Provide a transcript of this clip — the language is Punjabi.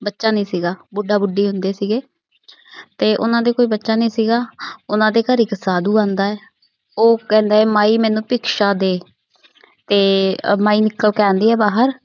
ਬੱਚਾ ਨੀ ਸੀਗਾ। ਬੁੱਢਾ ਬੁਡੀ ਹੁੰਦੇ ਸੀਗੇ। ਤੇ ਉਨਾ ਦੇ ਕੋਈ ਬੱਚਾ ਨੀ ਸੀਗਾ। ਉਨਾ ਦੇ ਘਰ ਇਕ ਸਾਧੂ ਆਉਂਦਾ ਹੈ। ਉਹ ਕਹਿੰਦਾ ਹੈ ਮਾਈ ਮੈਨੂੰ ਭਿਖਸ਼ਾ ਦੇ ਤੇ ਮਾਈ ਨਿਕਲ ਕੇ ਆਉਂਦੀ ਹੈ ਬਾਹਰ।